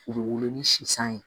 U bɛ wolo ni sisan ye